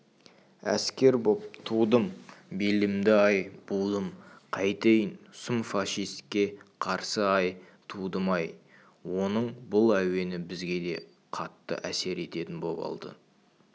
әскер боп тудым белімді-ай будым қайтейін сұм фашиске қарсы-ай тудым-ай оның бұл әуені бізге де қатты әсер ететін боп алды